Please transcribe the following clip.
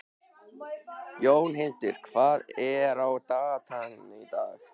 Jónhildur, hvað er á dagatalinu í dag?